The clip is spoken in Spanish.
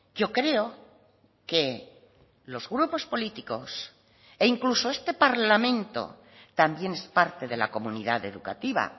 yo creo que los grupos políticos e incluso este parlamento también es parte de la comunidad educativa